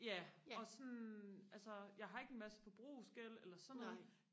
ja og sådan altså jeg har ikke en masse forbrugsgæld eller sådan noget